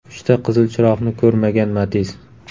Uchta qizil chiroqni ko‘rmagan Matiz.